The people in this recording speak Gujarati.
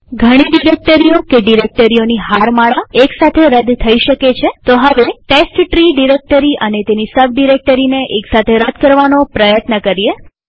ઘણી ડિરેક્ટરીઓ કે ડિરેક્ટરીઓની હારમાળા એક સાથે રદ થઇ શકે છેતો હવે ટેસ્ટટ્રી ડિરેક્ટરી અને તેની સબ ડિરેક્ટરીને એક સાથે રદ કરવાનો પ્રયત્ન કરીએ